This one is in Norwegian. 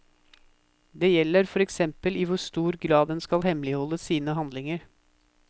Det gjelder for eksempel i hvor stor grad en skal hemmeligholde sine handlinger.